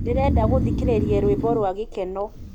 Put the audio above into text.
ndĩrenda gũthĩkĩrĩrĩa rwĩmbo rwa gĩkeno